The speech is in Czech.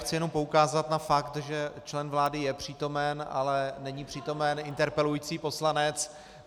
Chci jenom poukázat na fakt, že člen vlády je přítomen, ale není přítomen interpelující poslanec.